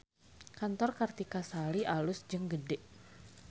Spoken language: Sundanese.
Kantor Kartika Sari alus jeung gede